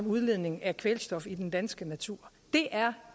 udledning af kvælstof i den danske natur det er